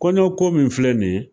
Kɔɲɔ ko min filɛ nin ye